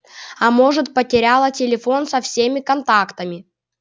а может потеряла телефон со всеми контактами